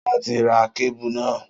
Solá ti ra kébù náà